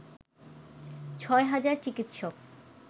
ছয় হাজার চিকিৎসক